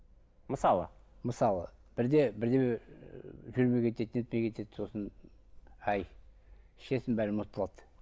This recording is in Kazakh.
мысалы мысалы бірде бірдеме ыыы жүрмей кетеді нетпей кетеді сосын ай ішесің бәрі ұмытылады